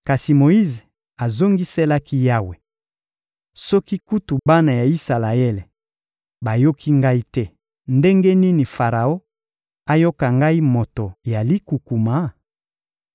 Kasi Moyize azongiselaki Yawe: — Soki kutu bana ya Isalaele bayoki ngai te, ndenge nini Faraon ayoka ngai moto ya likukuma?